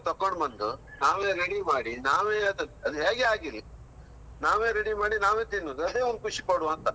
ತಕೊಂಡು ಬಂದು, ನಾವೇ ready ಮಾಡಿ, ನಾವೇ ಅದ್ ಅದು ಹ್ಯಾಗೆ ಆಗಿರ್ಲಿ, ನಾವೇ ready ಮಾಡಿ ನಾವೇ ತಿನ್ನುದು. ಅದೇ ಒಂದು ಖುಷಿ ಕೊಡುವಾಂತ.